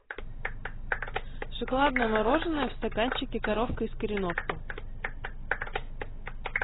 шоколадное мороженное в стаканчике коровка из кореновки